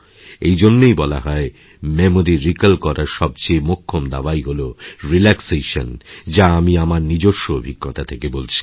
এই জন্যই বলা হয় মেমরি রিকল করার সবচেয়ে মোক্ষম দাওয়াই হল রিল্যাক্সেশন যা আমি আমারনিজস্ব অভিজ্ঞতা থেকে বলছি